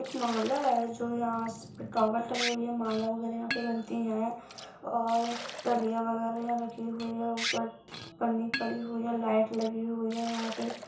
एक माला है जो यहाँ स टॉवल टंगी हुई हैं माला वैगरह यहाँ पे बनते हैं और डालियाँ वैगरह यहाँ रखी हुई हैं ऊपर पन्नी पड़ी हुई है लाइट लगी हुई है यहाँ पे --